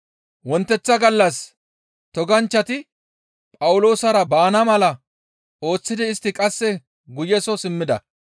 Wonteththa gallas toganchchati Phawuloosara baana mala ooththidi istti qasse guye soo simmida.